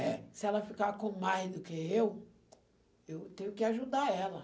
É, se ela ficar com mais do que eu, eu tenho que ajudar ela.